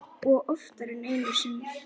Og oftar en einu sinni.